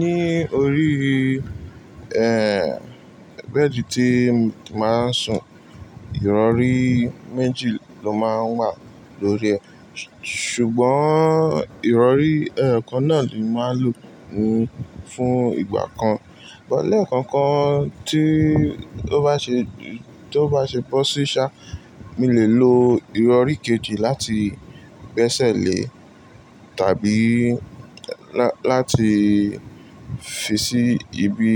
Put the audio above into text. Ní orí bẹ́ẹ̀di tíì màá n sùn, ìrọ̀rí méjì ló máa ń wà lórí ẹ̀. Ṣùgbọ́n ìrọ̀rí ẹyokan náà ni màá lò fún ìgbà kan. Bọ́lẹ̀kọ́kan tí ó bá ṣe, tó bá ṣe bọ́ sí ṣá, mi lè lo ìrọ̀rí kejì láti bẹ́sẹ̀ lé tàbí là láti fi sí ibi,